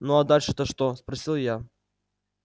ну а дальше то что спросил я